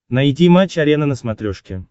найди матч арена на смотрешке